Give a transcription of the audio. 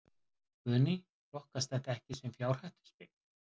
Guðný: Flokkast þetta ekki sem fjárhættuspil?